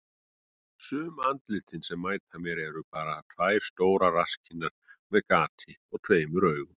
Sum andlitin sem mæta mér eru bara tvær stórar rasskinnar með gati og tveimur augum.